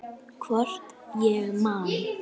Hvort ég man.